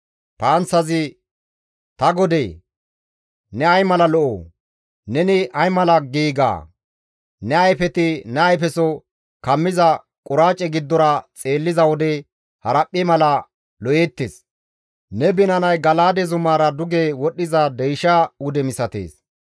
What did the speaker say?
«Ta godee! Ne ay mala lo7o! Neni ay mala giiga! Ne ayfeti ne ayfeso kammiza quraace giddora xeelliza wode haraphphe mala lo7eettes; ne binanay Gala7aade zumaara duge wodhdhiza deysha wude misatees.